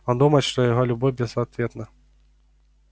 он думает что его любовь безответна